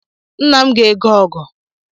Nna m ga-ego ọgụ